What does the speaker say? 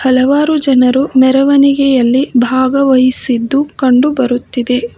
ಹಲವಾರು ಜನರು ಮೆರವಣಿಗೆಯಲ್ಲಿ ಭಾಗವಹಿಸಿದ್ದು ಕಂಡು ಬರುತ್ತಿದೆ.